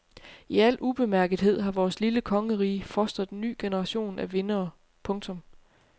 I al ubemærkethed har vores lille kongerige fostret en ny generation af vindere. punktum